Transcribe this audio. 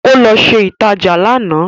Ó lọ ṣe ìtajà lánàá